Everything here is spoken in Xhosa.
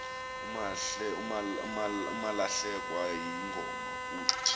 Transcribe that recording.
umalahlekwa yingoma kuh